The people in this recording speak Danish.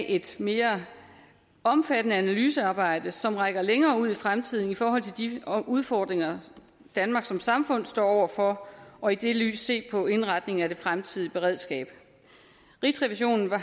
et mere omfattende analysearbejde som rækker længere ud i fremtiden i forhold til de udfordringer danmark som samfund står over for og i det lys se på indretningen af det fremtidige beredskab rigsrevisionen var